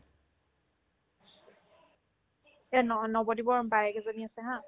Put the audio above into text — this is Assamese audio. এই ন ~ নৱদ্বীপৰ বায়েক এজনী আছে haa